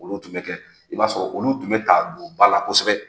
Olu tun bi kɛ i b'a sɔrɔ olu tun bɛ ta don ba la kosɛbɛ